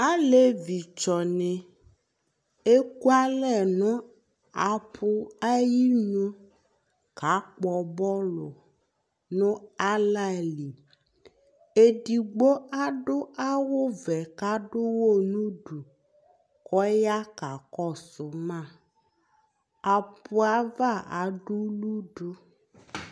Aalevi tsɔni ekʋalɛ nʋ apʋ ayinʋ k'akpɔ bɔlʋ nʋ alali Eɖigbo aɖʋ awuvɛ, k'aɖʋhɔ nʋɖʋ Kʋ ɔya k'akɔsʋmaApʋava aɖʋlʋɖʋ